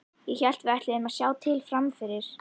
Ég hélt að við ætluðum að sjá til fram yfir.